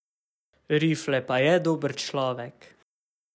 Rifle pa je dober človek.